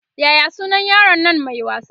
Yaya sunan yaron Nan Mai wasa?